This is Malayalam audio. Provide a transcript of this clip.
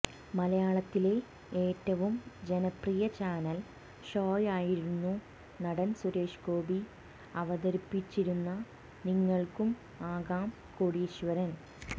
മലയാളത്തിലെ ഏറ്റവും ജനപ്രിയ ചാനൽ ഷോയായിരുന്നു നടൻ സുരേഷ് ഗോപി അവതാരിപ്പിച്ചിരുന്ന നിങ്ങൾക്കും ആകാം കോടീശ്വരൻ